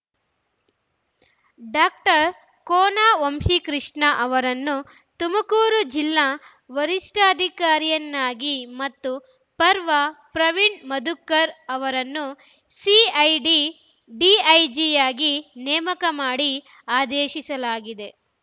doctor Kona Vamshi Krishna ಅವರನ್ನು ತುಮಕೂರು ಜಿಲ್ಲಾ ವರಿಷ್ಠಾಧಿಕಾರಿಯನ್ನಾಗಿ ಮತ್ತು ಪವರ್‌ ಪ್ರವೀಣ್‌ ಮಧುಕರ್‌ ಅವರನ್ನು ಸಿಐಡಿ ಡಿಐಜಿಯಾಗಿ ನೇಮಕ ಮಾಡಿ ಆದೇಶಿಸಲಾಗಿದೆ